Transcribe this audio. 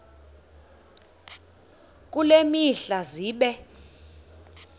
kule mihla zibe